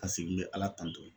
Paseke n bɛ ala tanto